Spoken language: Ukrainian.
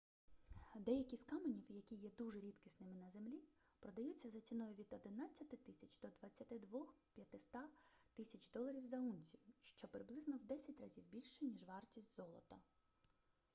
деякі з каменів які є дуже рідкісними на землі продаються за ціною від 11000 до 22500 доларів за унцію що приблизно в 10 разів більше ніж вартість золота